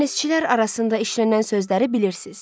Dənizçilər arasında işlənən sözləri bilirsiz.